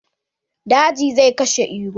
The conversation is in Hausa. Daji zai kashe Iro.